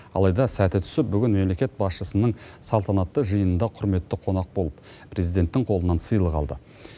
алайда сәті түсіп бүгін мемлекет басшысының салтанатты жиынында құрметті қонақ болып президенттің қолынан сыйлық алды